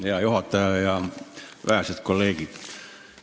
Hea juhataja ja vähesed kolleegid!